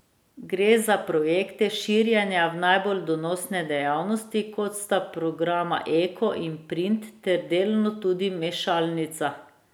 Gre za projekte širjenja v najbolj donosne dejavnosti, kot sta programa eko in print ter delno tudi mešalnica.